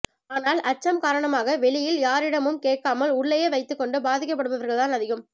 ஆனால் அச்சம் காரணமாக வெளியில் யாரிடமும் கேட்காமல் உள்ளேயே வைத்துக்கொண்டு பாதிக்கப்படுபவர்கள் தான் அதிகம்